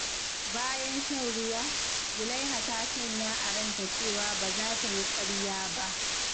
Bayan shan ruwa, Zulaiha ta sanya a ranta cewa ba za ta yi ƙarya ba.